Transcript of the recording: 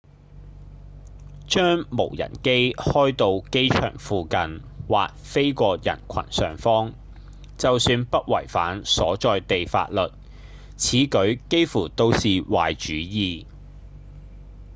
將無人機開到機場附近或飛過人群上方就算不違反所在地法律此舉幾乎都是壞主意